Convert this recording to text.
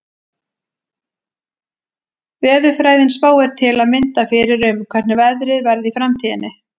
Veðurfræðin spáir til að mynda fyrir um hvernig veðrið verði í framtíðinni.